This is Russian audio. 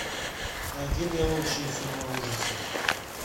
найди мне лучшие фильмы ужасов